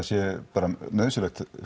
sé bara nauðsynlegt